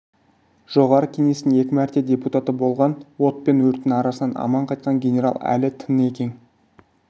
жоғарғы кеңестің екі мәрте депутаты болған от пен өрттің арасынан аман қайтқан генерал әлі тың екен